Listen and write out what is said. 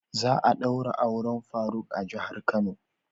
Za'a daura auren faruk a jihar kano.